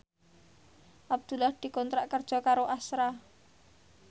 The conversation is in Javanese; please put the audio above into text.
Abdullah dikontrak kerja karo Astra